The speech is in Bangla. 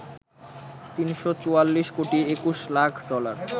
৩৪৪ কোটি ২১ লাখ ডলার